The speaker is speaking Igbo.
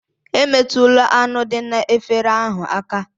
Emetụla anụ dị n'efere ahụ aka!